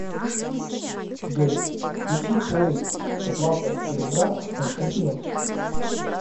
джой включи поиск злата серебра с константином